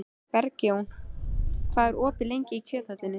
Bergjón, hvað er lengi opið í Kjöthöllinni?